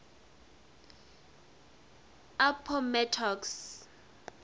appomattox